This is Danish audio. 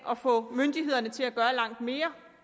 at få myndighederne til at gøre langt mere